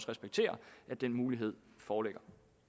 respektere at den mulighed foreligger